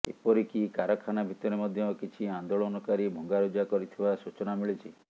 ଏପରିକି କାରଖାନା ଭିତରେ ମଧ୍ୟ କିଛି ଆନ୍ଦୋଳନକାରୀ ଭଙ୍ଗାରୁଜା କରିଥିବା ସୂଚନା ମିଳିଛି